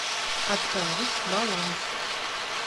отправить баланс